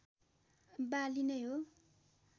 बाली नै हो